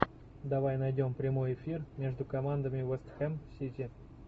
давай найдем прямой эфир между командами вест хэм сити